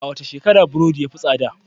A wace shekara burodi ya fi tsada?